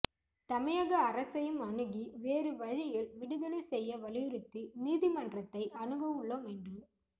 தமிழக அரசையும் அணுகி வேறு வழியில் விடுதலை செய்ய வலியுறுத்தி நீதிமன்றத்தை அணுக உள்ளோம் என்று